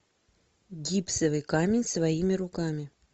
гипсовый камень своими руками